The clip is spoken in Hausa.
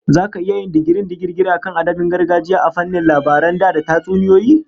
Zaka iya yin digirin digirgir akan adabin gargajiya a fannin labaran da da tatsuniyoyi?